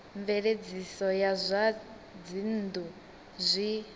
mveledziso ya zwa dzinnu zwi